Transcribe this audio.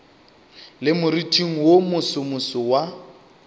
le moriting wo mosomoso wa